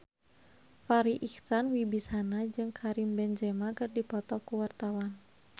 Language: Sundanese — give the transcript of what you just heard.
Farri Icksan Wibisana jeung Karim Benzema keur dipoto ku wartawan